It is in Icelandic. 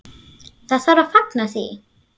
Það þarf að fagna því.